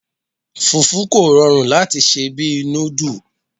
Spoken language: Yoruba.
Fùfú kò rọrùn láti sè bí i núdù.